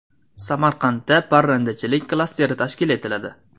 Samarqandda parrandachilik klasteri tashkil etiladi.